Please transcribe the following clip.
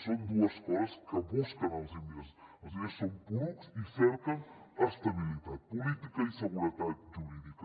són dues coses que busquen els diners els diners són porucs i cerquen estabilitat política i seguretat jurídica